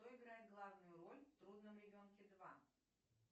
кто играет главную роль в трудном ребенке два